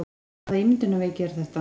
Hvaða ímyndunarveiki var þetta?